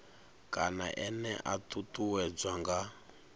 kana ene a ṱuṱuwedzwa nga